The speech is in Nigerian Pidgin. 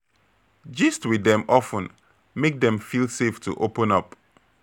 Gist with dem of ten make dem feel safe to open up